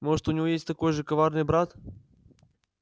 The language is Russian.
может у него есть такой же коварный брат